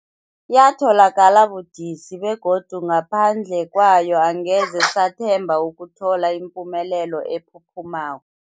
Yatholakala budisi, begodu ngaphandle kwayo angeze sathemba ukuthola ipumelelo ephuphumako.